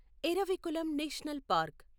Eravikulam national park